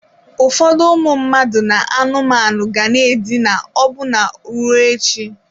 Ụfọdụ ụmụ mmadụ na anụmanụ ga na-edina ọbụna ruo echi.